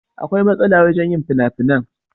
Akwai masala wajen yin finafinan.